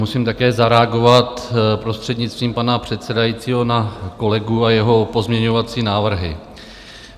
Musím také zareagovat, prostřednictvím pana předsedajícího, na kolegu a jeho pozměňovací návrhy.